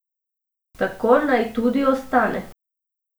Tako naj tudi ostane.